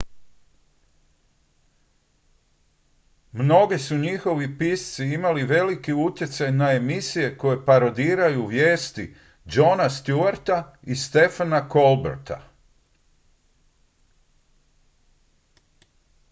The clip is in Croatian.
mnogi su njihovi pisci imali velik utjecaj na emisije koje parodiraju vijesti jona stewarta i stephena colberta